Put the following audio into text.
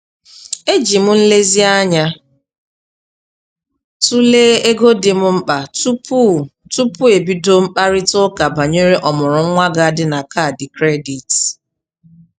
Eji m nlezianya tụlee ego dị m mkpa tupu tupu ebido mkparịta ụka banyere ọmụrụ nwa ga-adị na kaadị kredit.